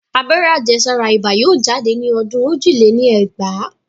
Abẹ́rẹ́ àjẹ́sára ibà yóò jáde ní ọdún ojì lé ní ẹgbàá